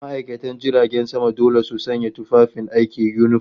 ma'aikatan jiragen sama dole su sanya tufafin aiki, yunifom